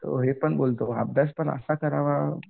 तो हे पण बोलतो अभ्यास पण असा करावा